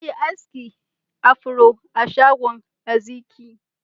Na yi aski afro a shagon Ezikiel.